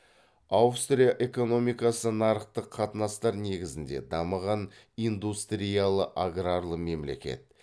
аустрия экономикасы нарықтық қатынастар негізінде дамыған индустриялы аграрлы мемлекет